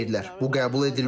Bu qəbul edilməzdir.